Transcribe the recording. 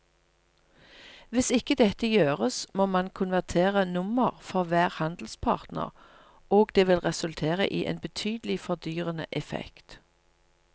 Hvis ikke dette gjøres må man konvertere nummer for hver handelspartner og det vil resultere i en betydelig fordyrende effekt.